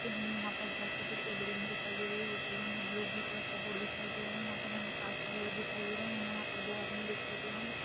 हमे यहाँ पर बहुत ही बड़ी एक बिल्डिंग दिखाई दे रही है वह बिल्डिग मे ब्लू ब्लू कलर का बोर्ड दिखाई दे रहे है यहाँ पर हमे कांच बगेरा दिखाई दे रहे हैं हमे यहाँ पर दो आदमी दिखाई दे रहे हैं।